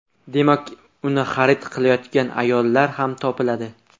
Demak, uni xarid qilayotgan ayollar ham topiladi.